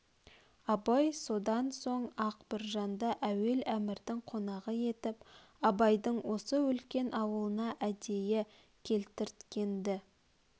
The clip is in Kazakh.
абай содан соң-ақ біржанды әуел әмірдің қонағы етіп құнанбайдың осы үлкен аулына әдейі келтірткен-ді